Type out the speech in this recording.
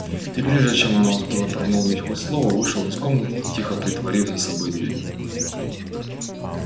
и прежде чем она успела промолвить хоть слово вышел из комнаты тихо притворив за собой дверь